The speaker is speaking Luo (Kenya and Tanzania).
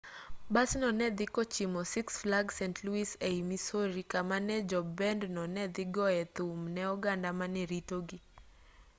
basno ne dhi kochimo six flags st louis ei missouri kama ne jo bend no ne dhi goyoe thum ne oganda mane ritogi